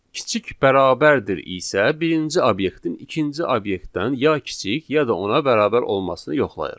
Kiçik bərabərdir isə birinci obyektin ikinci obyektdən ya kiçik, ya da ona bərabər olmasını yoxlayır.